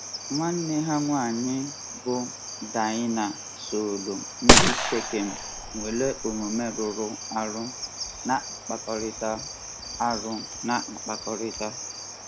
Nwanne ha nwanyị bụ́ Daịna sooro ndị Shekem nwere omume rụrụ arụ na-akpakọrịta. arụ na-akpakọrịta.